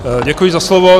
Děkuji za slovo.